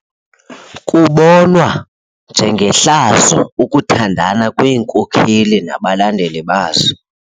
Kubonwa njengehlazo ukuthandana kweenkokeli nabalandeli bazo.